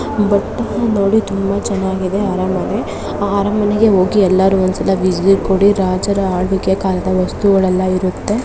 ಬಟ್ಟೆ ನೋಡಿ ತುಂಬಾ ಚೆನ್ನಾಗಿದೆ ಅರಮನೆಗೆ ಜಿ ಎಲ್ಲರೂ ಒಂದು ಸಲ ವಿಸಿಟ್ ಕೊಡಿ ರಾಜರ ಆಳ್ವಿಕೆ ಕಾಲದ ವಸ್ತುಗಳು ಎಲ್ಲ ಇರುತ್ತೆ